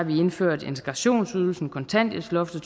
vi indført integrationsydelsen kontanthjælpsloftet